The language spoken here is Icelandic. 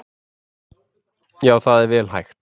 Já, það er vel hægt.